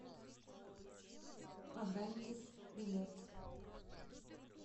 адантис билет